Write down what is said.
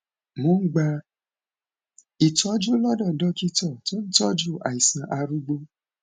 mo ń gba ìtọjú lọdọ dókítà tó ń tọjú àìsàn arúgbó